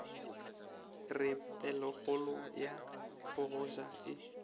re pelokgolo ya bogoja e